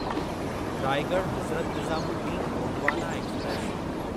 Raigad Hazrat Nizamuddin Gondwana express